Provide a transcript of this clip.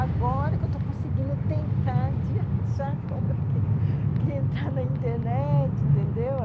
Agora que eu estou conseguindo tentar de achar como eu tenho que entrar na internet, entendeu?